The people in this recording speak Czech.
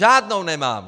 Žádnou nemám!